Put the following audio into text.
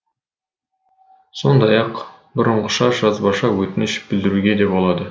сондай ақ бұрынғыша жазбаша өтініш білдіруге де болады